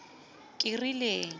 kerileng